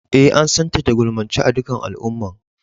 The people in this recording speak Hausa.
Eh, an san ta da gulmance a' dukan al'umman.